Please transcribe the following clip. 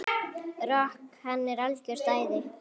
Rok, hann er algjört æði.